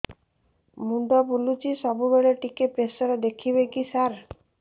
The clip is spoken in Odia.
ମୁଣ୍ଡ ବୁଲୁଚି ସବୁବେଳେ ଟିକେ ପ୍ରେସର ଦେଖିବେ କି ସାର